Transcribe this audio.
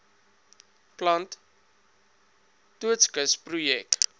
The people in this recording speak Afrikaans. plant doodskis projek